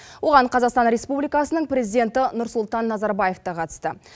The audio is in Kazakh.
оған қазақстан республикасының президенті нұрсұлтан назарбаев та қатысты